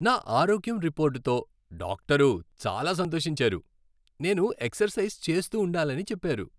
నా ఆరోగ్యం రిపోర్టుతో డాక్టరు చాలా సంతోషించారు, నేను ఎక్సర్సైజ్ చేస్తూ ఉండాలని చెప్పారు.